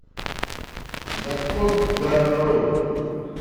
закон гарроу